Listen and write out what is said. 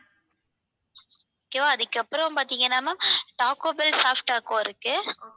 okay வா அதுக்கப்புறம் பாத்தீங்கன்னா ma'am taco bell soft taco இருக்கு.